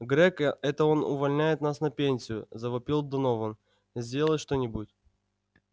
грег это он увольняет нас на пенсию завопил донован сделай что-нибудь